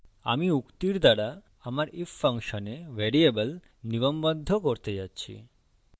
আমি উক্তিরদ্বারা আমার if ফাংশনে ভ্যারিয়েবল নিগমবদ্ধ করতে যাচ্ছি